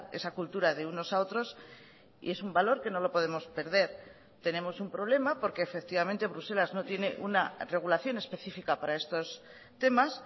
esa cultura de unos a otros y es un valor que no lo podemos perder tenemos un problema porque efectivamente bruselas no tiene una regulación específica para estos temas